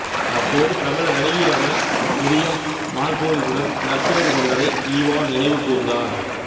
அப்போது பிரபல நடிகையான மிரியம் மார்கோலிசுடன் நட்புறவு கொண்டதை ஈவா நினைவு கூர்ந்தார்